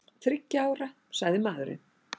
Þriggja ára, sagði maðurinn.